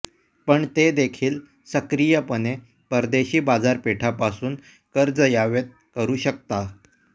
पण ते देखील सक्रियपणे परदेशी बाजारपेठा पासून कर्ज यावेत करू शकता